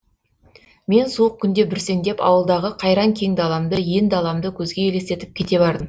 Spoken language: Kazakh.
мен суық күнде бүрсеңдеп ауылдағы қайран кең даламды ен даламды көзге елестетіп кете бардым